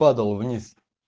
падал вниз